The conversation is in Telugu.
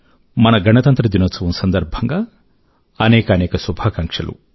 మన గంతంత్ర దినోత్సవం సందర్భం గా అనేకానేక శుభాకాంక్షలు